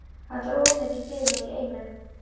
Þetta er of mikið fyrir mig í einu.